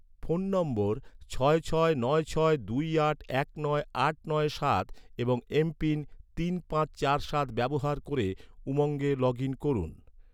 phone নম্বর ছয় ছয় নয় ছয় দুই আট এক নয় আট নয় সাত এবং এমপিন তিন পাঁচ চার সাত ব্যবহার ক’রে, উমঙ্গে লগ ইন করুন